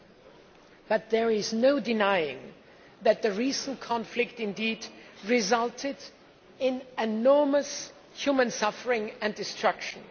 However, there is no denying that the recent conflict resulted in enormous human suffering and destruction.